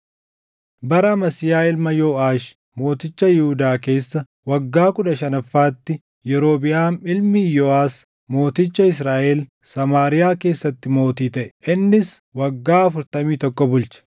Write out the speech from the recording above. Bara Amasiyaa ilma Yooʼaash mooticha Yihuudaa keessa waggaa kudha shanaffaatti Yerobiʼaam ilmi Iyooʼas mooticha Israaʼel Samaariyaa keessatti mootii taʼe; innis waggaa afurtamii tokko bulche.